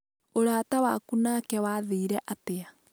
ũraata waku nake wathirire atĩa?